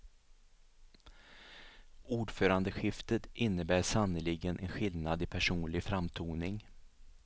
Ordförandeskiftet innebär sannerligen en skillnad i personlig framtoning.